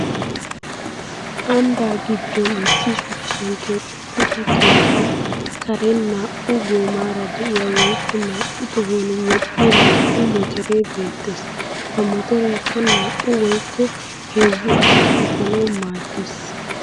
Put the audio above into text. Ambba giddon issi shuchchan keexettiiddi keettaa Karen naa'u goomaara diya woykko naa'u tohuwan woxxiya naa'u motoree beettes.ha motoreekka naa'u woykko heezzu asaa efanawu maaddes.